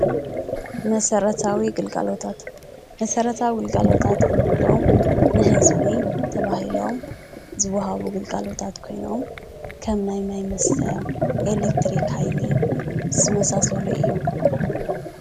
መሰረታዊ ግልጋሎታት መሰረታዊ ግልጋሎታት እንብሎም ንህዝቢ ተባሂሎም ዝወሃቡ ግልጋሎታት ኮይኖም ከም ናይ ማይ መስተ፣ ኤሌክትሪክ ሃይሊ ዝመሳሰሉ እዮም።